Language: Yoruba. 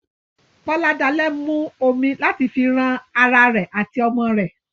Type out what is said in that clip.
Boladale mu omi láti fi ran ará rẹ àti ọmọ rẹ.